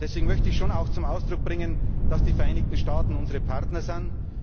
Deswegen möchte ich zum Ausdruck bringen, dass die Vereinigten Staaten unsere Partner sind.